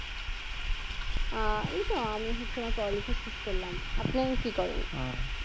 আহ এইতো আমি হচ্ছে আমার পড়ালেখা শেষ করলাম আপনাই কি করেন